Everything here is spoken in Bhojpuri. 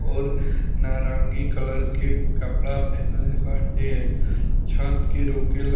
और नारंगी कलर के कपड़ा पेहेनले बाटे | छत के रोके --